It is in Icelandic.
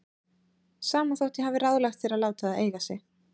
Sama þótt ég hafi ráðlagt þér að láta það eiga sig.